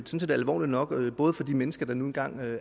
set alvorligt nok både for de mennesker der nu engang